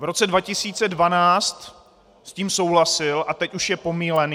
V roce 2012 s tím souhlasil a teď už je pomýlený?